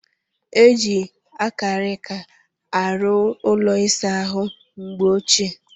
E jiiri akarika arụ ụlọ ịsa ahụ mgbe ochie.